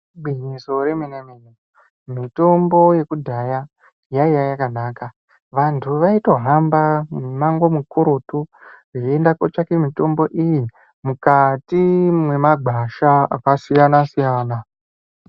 Igwinyiso remene-mene, mitombo yekudhaya, yaiya yakanaka. Vanyu vaitohamba mimango mikurutu ,veienda kotsvake mitombo iyi, mukati mwemagwasha akasiyana-siyana.